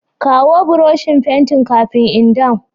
Kawo Buroshin fentin kafin in dawn.